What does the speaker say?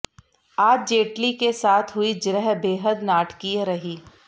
आज जेटली के साथ हुई जिरह बेहद नाटकीय रही